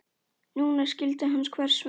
Núna skildi hann hvers vegna.